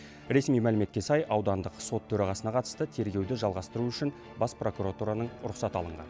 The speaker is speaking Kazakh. ресми мәліметке сай аудандық сот төрағасына қатысты тергеуді жалғастыру үшін бас прокуратураның рұқсаты алынған